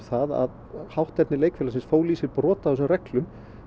það að hátterni leikfélagsins fól í sér brot á þessum reglum